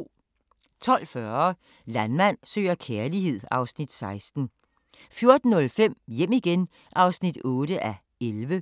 12:40: Landmand søger kærlighed (Afs. 16) 14:05: Hjem igen (8:11)